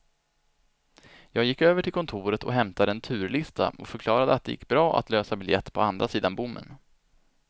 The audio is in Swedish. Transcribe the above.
Jag gick över till kontoret och hämtade en turlista och förklarade att det gick bra att lösa biljett på andra sidan bommen.